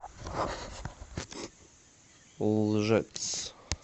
лжец